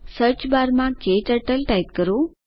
સર્ચબારમાં ક્ટર્ટલ ટાઇપ કરો